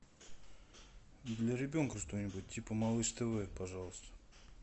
для ребенка что нибудь типа малыш тв пожалуйста